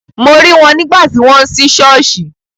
Mo rí wọn nígbà tí wọ́n ń sí ṣọ́ọ̀ṣì.